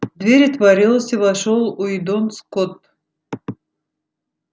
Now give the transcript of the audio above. дверь отворилась и вошёл уидон скотт